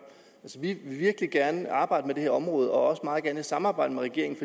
vi vil virkelig gerne arbejde med det her område og også meget gerne i samarbejde med regeringen